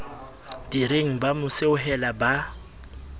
direng ba mo seohela ba